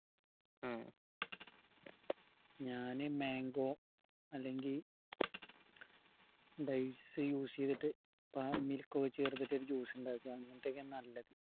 ഉം ഞാൻ mango അല്ലെങ്കി dates use എയ്തിട്ട് milk ഓ ചേർത്തിട്ട് juice ഇണ്ടാക്ക നല്ലത്‌